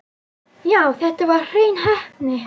Já, þetta var hrein heppni.